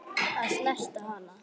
Að snerta hana.